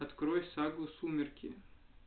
открой сагу сумерки